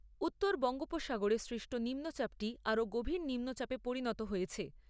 উত্তর বঙ্গোপসাগরে সৃষ্ট নিম্নচাপটি আরো গভীর নিম্নচাপে পরিণত হয়েছে।